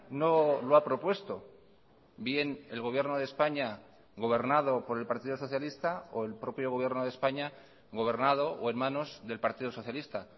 no lo ha propuesto bien el gobierno de españa gobernado por el partido socialista o el propio gobierno de españa gobernado o en manos del partido socialista